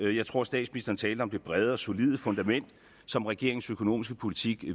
jeg tror statsministeren talte om det brede og solide fundament som regeringens økonomiske politik